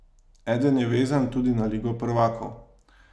Eden je vezan tudi na ligo prvakov.